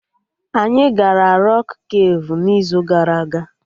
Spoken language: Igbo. Anyị gara Rọk kafe n'izu gara aga